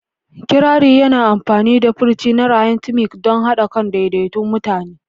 Kirari yana amfani da furci na rhythmic don haɗa kan daidaikun mutane.